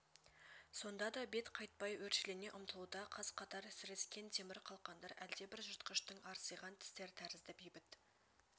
сонда да бет қайтпай өршелене ұмтылуда қаз-қатар сірескен темір қалқандар әлдебір жыртқыштың арсиған тістер тәрізді бейбіт